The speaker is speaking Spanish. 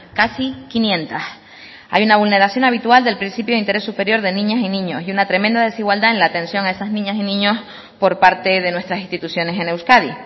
casi quinientos hay una vulneración habitual del principio de interés superior de niñas y niños y una tremenda desigualdad en la atención a esas niñas y niños por parte de nuestras instituciones en euskadi